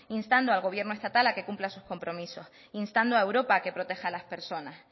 instando al gobierno estatal a que cumpla sus compromisos instando a europa que proteja las personas